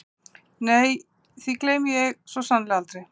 Nei því gleymi ég svo sannarlega aldrei.